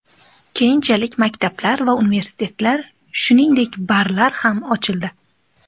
Keyinchalik maktablar va universitetlar, shuningdek, barlar ham ochildi.